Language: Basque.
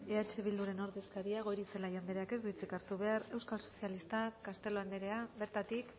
eh bilduren ordezkaria goirizelaia andreak ez du hitzik hartu behar euskal sozialistak castelo anderea bertatik